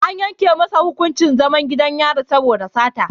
An yanke masa hukuncin zaman gidan yari saboda sata.